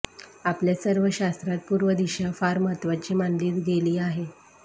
आपल्या सर्व शास्त्रात पूर्व दिशा फार महत्वाची मानली गेली आहे